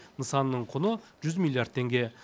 нысанның құны жүз миллиард теңге